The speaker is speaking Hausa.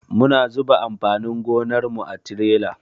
Muna zuba amfanin gonar mu a tirela.